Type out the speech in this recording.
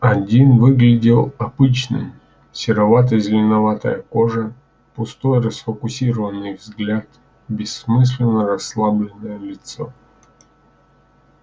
один выглядел обычным серовато-зеленоватая кожа пустой расфокусированный взгляд бессмысленно-расслабленное лицо